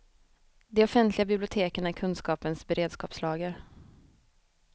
De offentliga biblioteken är kunskapens beredskapslager.